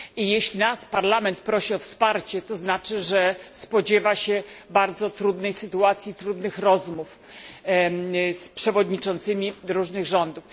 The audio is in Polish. Jeśli nas Parlament prosi o wsparcie, to znaczy, że spodziewa się bardzo trudnej sytuacji, trudnych rozmów z szefami różnych rządów.